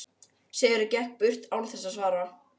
Sigurður gekk burt án þess að svara.